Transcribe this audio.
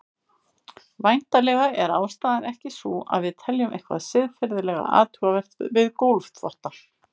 Væntanlega er ástæðan ekki sú að við teljum eitthvað siðferðilega athugavert við gólfþvotta.